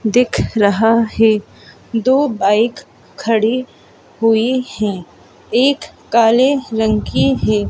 दिख रहा है दो बाइक खड़ी हुई हैं एक काले रंग की है।